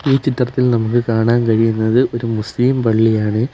ഈ ചിത്രത്തിൽ നമുക്ക് കാണാൻ കഴിയുന്നത് ഒരു മുസ്ലിം പള്ളിയാണ്.